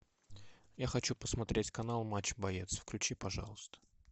я хочу посмотреть канал матч боец включи пожалуйста